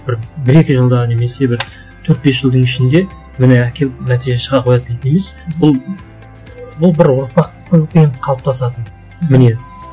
бір бір екі жылда немесе бір төрт бес жылдың ішінде міне әкеліп нәтиже шыға қоятын не емес бұл бұл бір ұрпақпен қалыптасатын мінез